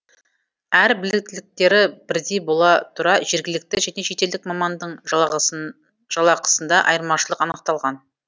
әрі біліктіліктері бірдей бола тұра жергілікті және шетелдік мамандың жалақысында айырмашылық анықталған